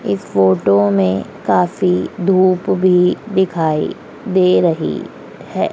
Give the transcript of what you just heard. इस फोटो मे काफी धूप भी दिखाई दे रही है।